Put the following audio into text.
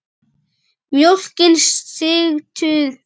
Mjólkin sigtuð frá.